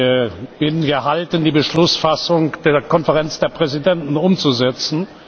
Ich bin gehalten, die Beschlussfassung der Konferenz der Präsidenten umzusetzen.